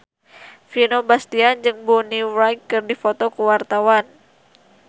Vino Bastian jeung Bonnie Wright keur dipoto ku wartawan